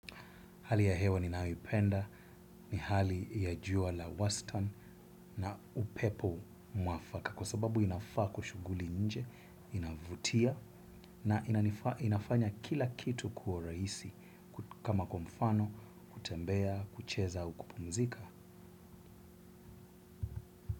Hali ya hewa ni nayoipenda, ni hali ya jua la wastan na upepo mwafaka kwa sababu inafaa kushuguli nje inavutia na inafanya kila kitu kuwa raisi kama kwamfano, kutembea, kucheza au kupumzika.